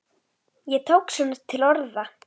Ég tók svona til orða.